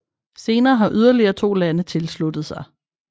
Senere har yderligere to lande tilsluttet sig